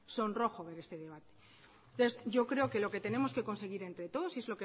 sonrojo ver ese debate entonces yo creo que lo que tenemos que conseguir entre todos y es